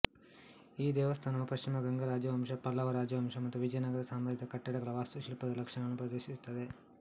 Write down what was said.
ಈ ದೇವಸ್ಥಾನವು ಪಶ್ಚಿಮ ಗಂಗಾ ರಾಜವಂಶ ಪಲ್ಲವ ರಾಜವಂಶ ಮತ್ತು ವಿಜಯನಗರ ಸಾಮ್ರಾಜ್ಯದ ಕಟ್ಟಡಗಳ ವಾಸ್ತುಶಿಲ್ಪದ ಲಕ್ಷಣಗಳನ್ನು ಪ್ರದರ್ಶಿಸುತ್ತದೆ